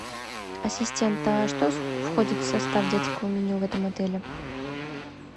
ассистент а что входит в состав детского меню в этом отеле